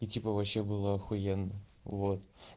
и типа вообще было ахуенно вот